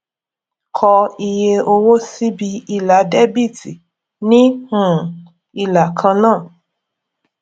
kọ iye owó síbi ilà dẹbíítì ní um ìlà kan náà